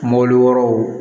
Mɔbili wɛrɛw